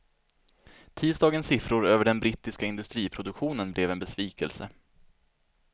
Tisdagens siffror över den brittiska industriproduktionen blev en besvikelse.